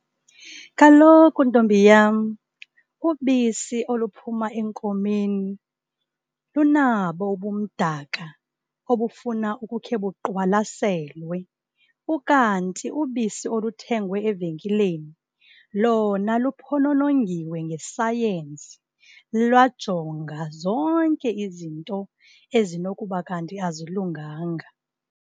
Kaloku, ntombi yam, ubisi oluphuma enkomeni lunabo ubumdaka obufuna ukukhe buqwalaselwe. Ukanti ubisi oluthengwa evenkileni lona luphononongiwe ngesayensi, lwajongwa zonke izinto ezinokuba kanti azilunganga.